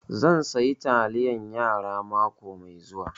Zan saya taliyar yara mako mai zuwa